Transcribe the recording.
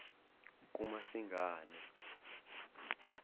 kumasingane